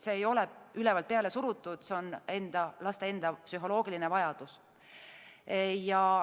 See ei ole ülevalt peale surutud, see on laste enda psühholoogiline vajadus.